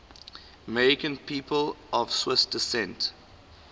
american people of swiss descent